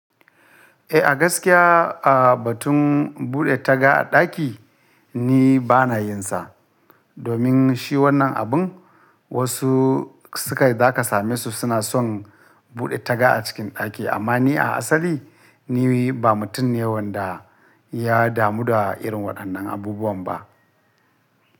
Eh, a gaskiya a batun buɗe taga a ɗaki ni bana yin sa. Domin shi wannan abun wasu suka za ka same su suna son buɗe taga a cikin ɗaki, amma ni a asali ni ba mutum ne wanda ya damu da irin waɗannan abubuwan ba.